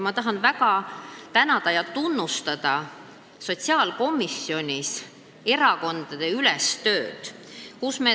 Ma tahan väga tunnustada sotsiaalkomisjonis tehtud erakondadeülest tööd.